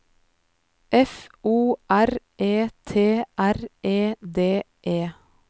F O R E T R E D E